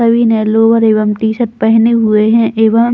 सभी ने लोअर एवं टी-शर्ट भी पहने हुए है एवं--